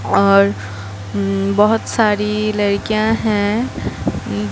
और उम्म बहुत सारी लड़कियां हैं।